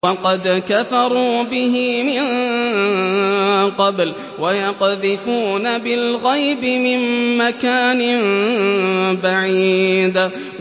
وَقَدْ كَفَرُوا بِهِ مِن قَبْلُ ۖ وَيَقْذِفُونَ بِالْغَيْبِ مِن مَّكَانٍ بَعِيدٍ